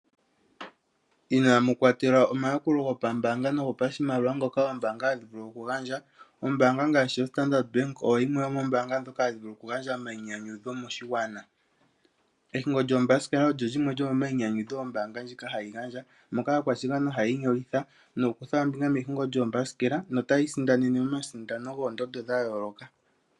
Inaamu kwatelwa omayakulo gopambaanga nogopashimaliwa ngoka oombanga hadhi vulu okugandja. Ombaanga ngaashi yaStandard Bank oyo yimwe yomoombaanga ndhoka hadhi vulu okugandja omayinyanyudho moshigwana. Ehingo lyoombasikela olyo limwe lyomomayinyanyudho ombaanga hayi gandja moka aakwashigwana haya inyolitha nokukutha ombinga mehingo lyoombasikela notayi isindanene omasindano goondondo dha yooloka.